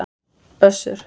Össur